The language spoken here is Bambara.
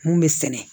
Mun bɛ sɛnɛ